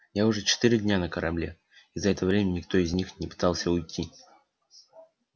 я уже четыре дня на корабле и за это время никто из них не пытался уйти